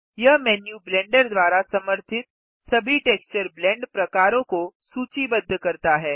यह menu Blender द्वारा समर्थित सभी टेक्सचर ब्लेंड प्रकारों को सूचीबद्ध करता है